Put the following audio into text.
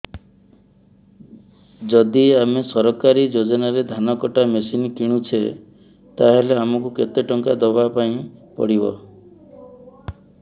ଯଦି ଆମେ ସରକାରୀ ଯୋଜନାରେ ଧାନ କଟା ମେସିନ୍ କିଣୁଛେ ତାହାଲେ ଆମକୁ କେତେ ଟଙ୍କା ଦବାପାଇଁ ପଡିବ